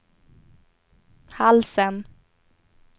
halsen